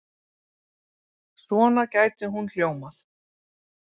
Svona gæti hún hljómað